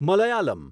Malayalam